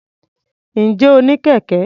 Ǹjẹ́ o ní kẹ̀kẹ́?